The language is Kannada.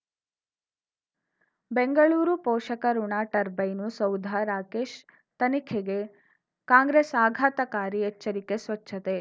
ಬೆಂಗಳೂರು ಪೋಷಕಋಣ ಟರ್ಬೈನು ಸೌಧ ರಾಕೇಶ್ ತನಿಖೆಗೆ ಕಾಂಗ್ರೆಸ್ ಆಘಾತಕಾರಿ ಎಚ್ಚರಿಕೆ ಸ್ವಚ್ಛತೆ